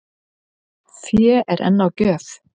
Fé er enn á gjöf